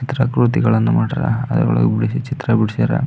ಈ ತರ ಮಾಡಾರ ಅದರ ವಳಗ್ ಚಿತ್ರಗಳ್ಳನ್ನ ಬಿಡಿಸಿದ್ದಾರೆ.